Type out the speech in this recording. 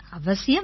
அவசியம் வாங்க